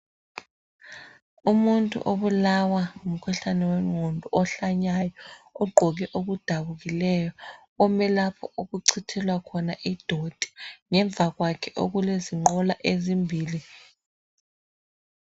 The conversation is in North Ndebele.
Umuntu obulawa ngumkhuhlane wengqondo ugqoke okudabukileyo. Ume lapho okucithelwa khona izibi. Ngemva kwakhe kulenqola ezimbili.